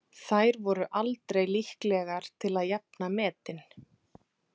Þær voru aldrei líklegar til að jafna metin.